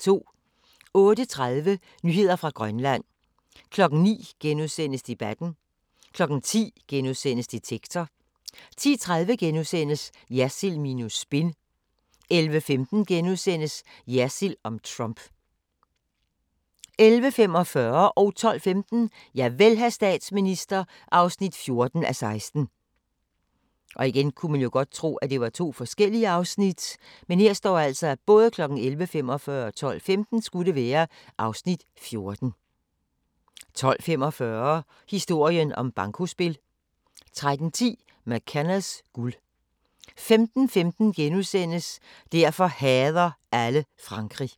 08:30: Nyheder fra Grønland 09:00: Debatten * 10:00: Detektor * 10:30: Jersild minus spin * 11:15: Jersild om Trump * 11:45: Javel, hr. statsminister (14:16) 12:15: Javel, hr. statsminister (14:16) 12:45: Historien om bankospil 13:10: MacKennas guld 15:15: Derfor hader alle Frankrig *